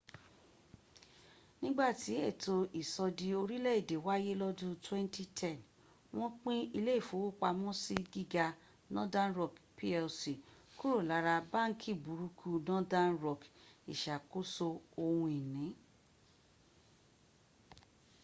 nígbàtí ètò ìsọdi orílẹ̀èdè wáyé lọ́dún 2010 wọ́n pín ilé ìfowópamọ́sí gíga northern rock plc kúrò lára ‘báńkì burúkú’ northern rock ìsàkóso ohun ìní